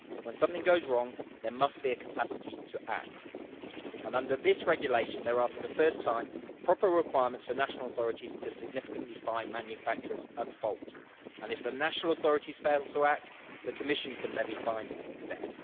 When something goes wrong, there must be a capacity to act, and under this regulation there are for the first time proper requirements for national authorities to significantly fine manufacturers at fault. If the national authorities fail to act, the Commission can levy fines instead.